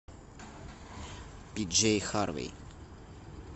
пиджей харви